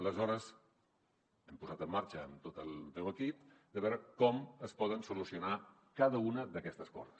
aleshores ens hem posat en marxa amb tot el meu equip per veure com es pot solucionar cada una d’aquestes coses